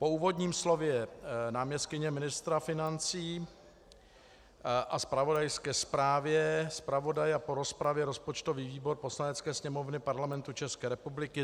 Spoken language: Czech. Po úvodním slově náměstkyně ministra financí a zpravodajské zprávě zpravodaje a po rozpravě rozpočtový výbor Poslanecké sněmovny Parlamentu České republiky